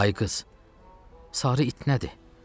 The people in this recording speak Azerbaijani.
Ay qız, sarı it nədir?